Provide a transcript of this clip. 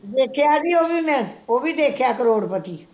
ਦੇਖਿਆ ਬਈ ਉਵੀ ਮੈਂ ਉਵੀ ਦੇਖਿਆ ਕਰੋੜਪਤੀ